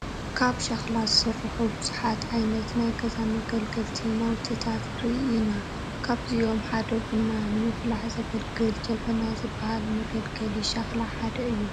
ካብ ሸኽላ ዝስርሑ ብዙሓት ዓይነት ናይ ገዛ መገልገልቲ ናውትታት ንርኢ ኢና፡፡ ካብዚኦም ሓደ ቡና ንምፍላሕ ዘገልግል ጀበና ዝበሃል መገልገሊ ሸኽላ ሓደ እዩ፡፡